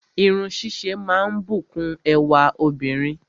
Irun ṣíṣe máa ń bùkún ẹwà obìnrin